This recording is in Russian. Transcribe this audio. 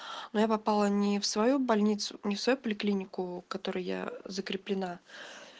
но я попала не в свою больницу не в свою поликлинику которая я закреплена